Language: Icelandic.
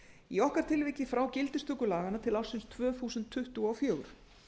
í okkar tilviki frá gildistöku laganna til ársins tvö þúsund tuttugu og fjögur